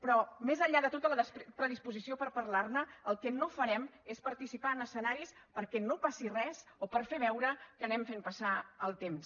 però més enllà de tota la predisposició per parlar ne el que no farem és participar en escenaris perquè no passi res o per fer veure que anem fent passar el temps